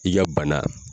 I ka bana